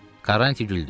Karanti güldü.